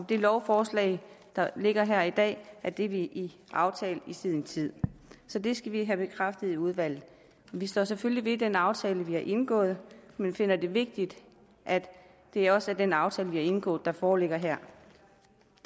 det lovforslag der ligger her i dag er det vi aftalte i sin tid så det skal vi have bekræftet i udvalget vi står selvfølgelig ved den aftale vi har indgået men vi finder det vigtigt at det også er den aftale vi har indgået der foreligger her